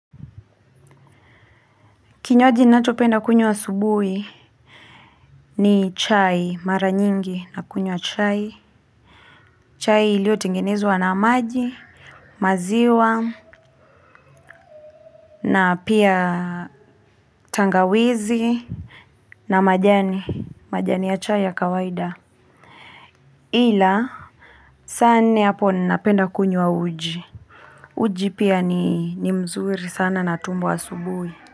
Kinywaji nachopenda kunywa asubuhi ni chai mara nyingi na kunywa chai. Chai lio tingenezwa na maji maziwa na pia tangawizi na majani ya chai ya kawaida. Ila saa nne hapo nina penda kunywa uji. Uji pia ni mzuri sana na tumbo asubuhi.